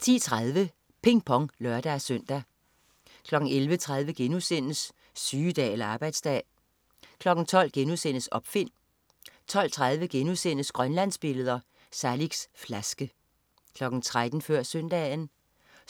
10.30 Ping Pong (lør-søn) 11.30 Sygedag eller arbejdsdag?* 12.00 Opfind* 12.30 Grønlandsbilleder. Saliks flaske* 13.00 Før Søndagen